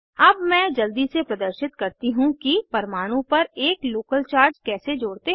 अब मैं जल्दी से प्रदर्शित करती हूँ कि परमाणु पर एक लोकल चार्ज कैसे जोड़ते हैं